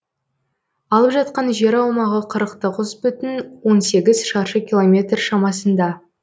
алып жатқан жер аумағы қырық тоғыз бүтін он сегіз шаршы километр шамасында